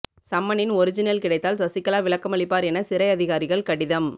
சம்மனின் original கிடைத்தால் சசிகலா விளக்கமளிப்பார் என சிறை அதிகாரிகள் கடிதம்